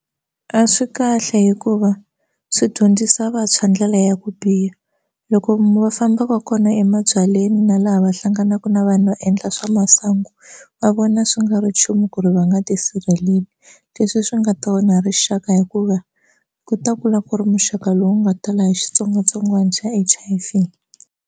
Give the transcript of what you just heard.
A swi kahle hikuva swi dyondzisa vantshwa ndlela ya ku biha loko va famba va kona emabyaleni na laha va hlanganaka na vanhu va endla swa masangu va vona swi nga ri nchumu ku ri va nga tisirheleli leswi swi nga ta onha rixaka hikuva ku ta kula ku ri muxaka lowu nga tala hi xitsongwatsongwana xa H_I_V.